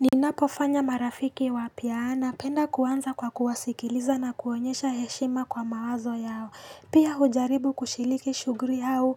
Ninapofanya marafiki wapya napenda kuanza kwa kuwasikiliza na kuonyesha heshima kwa mawazo yao. Pia hujaribu kushiliki shughuli au